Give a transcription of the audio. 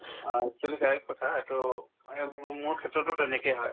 আ actually correct কথা এইটো মানে মোৰ~ মোৰ ক্ষেত্ৰতো তেনেকে হয়